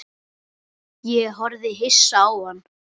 Ég horfði hissa á hann.